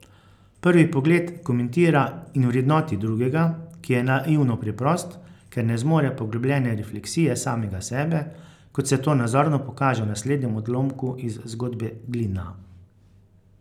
Prvi pogled komentira in vrednoti drugega, ki je naivno preprost, ker ne zmore poglobljene refleksije samega sebe, kot se to nazorno pokaže v naslednjem odlomku iz zgodbe Glina.